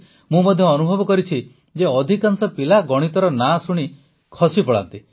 ମୁଁ ମଧ୍ୟ ଅନୁଭବ କରିଛି ଯେ ଅଧିକାଂଶ ପିଲା ଗଣିତର ନାଁ ଶୁଣି ଖସି ପଳାନ୍ତି